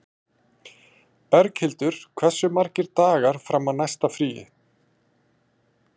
Berghildur, hversu margir dagar fram að næsta fríi?